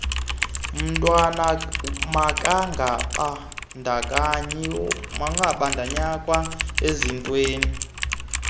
mntwana makangabandakanywa ezintweni